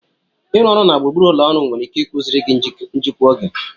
Ịrụ ọrụ na gburugburu ụlọ ọrụ nwere ike ịkụziri gị njikwa oge.